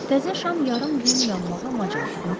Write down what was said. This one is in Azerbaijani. Təzə şam yarım düyüm yanmağa macal tapıb.